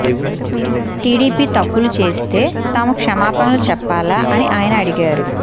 TDP తప్పులు చేస్తే తాము క్షమాపణలు చెప్పాలా అని ఆయన అడిగారు